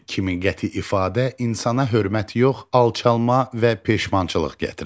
Kimin qəti ifadə insana hörmət yox, alçalma və peşmançılıq gətirər.